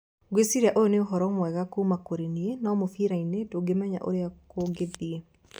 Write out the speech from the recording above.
"Ngwĩciria ũyũ nĩ ũhoro mwega kuuma kũrĩ niĩ, no mũbira-inĩ ndũmenyaga ũrĩa kũngĩthiĩ".